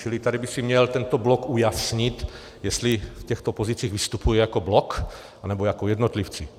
Čili tady by si měl tento blok ujasnit, jestli v těchto pozicích vystupuje jako blok, nebo jako jednotlivci.